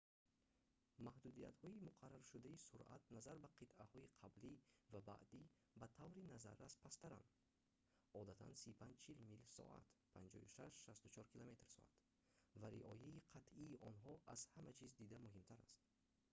маҳдудиятҳои муқарраршудаи суръат назар ба қитъаҳои қаблӣ ва баъдӣ ба таври назаррас пасттаранд - одатан 35-40 мил/соат 56-64 км/соат - ва риояи қатъии онҳо аз ҳама чиз дида муҳимтар аст